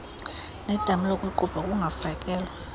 nedama lokuqubha kungafakelwa